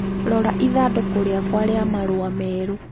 Rora ithandũkũ rĩakwa rĩa marũa merũ